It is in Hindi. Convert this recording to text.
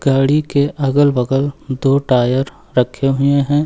गाड़ी के अगल बगल दो टायर रखे हुए हैं।